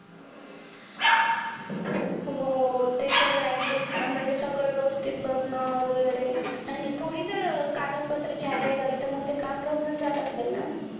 हो ते सगळं adjust अं म्हणजे सगळं व्यवस्थित बघणं. वगैरे आणि थोडी जर कागदपत्राची हयगय झाली, तर मंग ते काम राहून चं जात असेल ना?